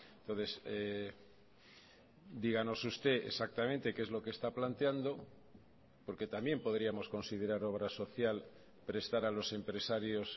entonces díganos usted exactamente qué es lo que está planteando porque también podríamos considerar obra social prestar a los empresarios